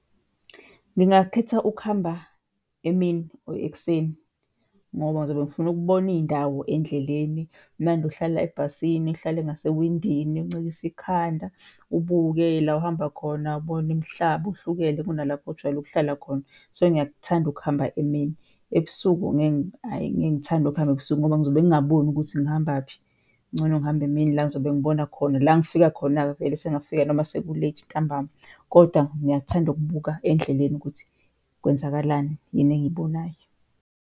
Ngingakhetha ukuhamba emini, or ekuseni ngoba ngizobe ngifuna ukubona iy'ndawo endleleni. Kumnandi ukuhlala ebhasini, uhlale ngasewindini, uncikise ikhanda, ubuke la ohamba khona ubone imihlaba uhlukene kunalapho ojwayele ukuhlala khona. So ngiyakuthanda ukuhamba emini. Ebusuku ngeke, ayi ngeke ngithande ukuhamba ebusuku ngoba ngizobe ngingaboni ukuthi ngihambaphi. Kungcono ngihambe emini la engizobe ngibona khona. La ngifika khona-ke vele sengingafika noma seku-late ntambama kodwa ngiyakuthanda ukubuka endleleni ukuthi kwenzakalani, yini engiyibonayo.